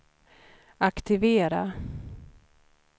aktivera